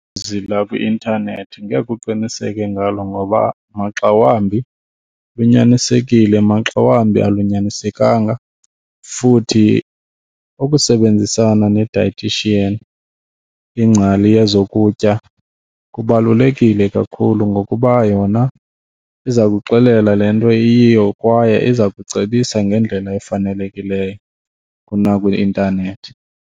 lakwi-intanethi ngeke uqiniseke ngalo ngoba maxa wambi lunyanisekile maxa wambi alunyaniseka futhi ukusebenzisana ne-dietician, ingcali yezokutya, kubalulekile kakhulu ngokuba yona iza kuxelela le nto iyiyo kwaye iza kucebisa ngendlela efanelekileyo kunakwi-intanethi.